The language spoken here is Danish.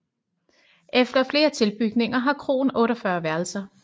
Efter flere tilbygninger har kroen 48 værelser